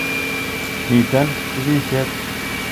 Miten chupishet